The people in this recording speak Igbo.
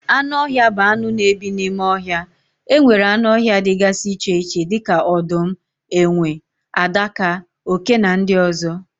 Anụ ọhịa bụ anụ na ebi n'ime ohia. Enwere anụ ọhịa dịgasị iche iche dịka odum, enwe, adaka, oké na ndị ozo